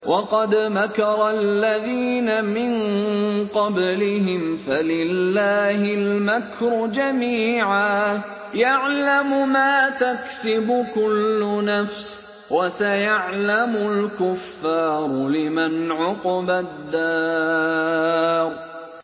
وَقَدْ مَكَرَ الَّذِينَ مِن قَبْلِهِمْ فَلِلَّهِ الْمَكْرُ جَمِيعًا ۖ يَعْلَمُ مَا تَكْسِبُ كُلُّ نَفْسٍ ۗ وَسَيَعْلَمُ الْكُفَّارُ لِمَنْ عُقْبَى الدَّارِ